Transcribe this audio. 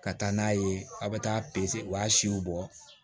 Ka taa n'a ye aw bɛ taa pese u b'a siw bɔ